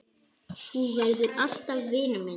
Þú verður alltaf vinur minn.